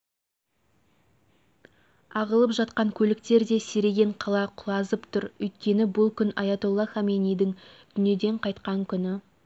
ағылып жатқан көліктер де сиреген қала құлазып тұр өйткені бұл күн аятолла хомейнидің дүниеден қайтқан күні